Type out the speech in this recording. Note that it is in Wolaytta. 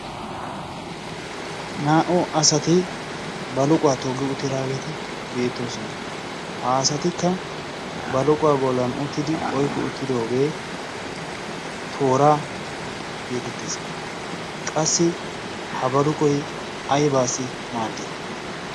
naa"u asati baluquwa toggi utidaageti beetosona. ha asatikka baluqquwa bolan utidi yki utidoge toora geetettes. ha baluqoy aybissi maadii?